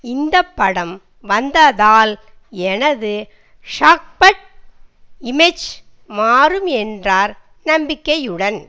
இந்த படம் வந்ததால் எனது சாஃபட் இமேஜ் மாறும் என்றார் நம்பிக்கையுடன்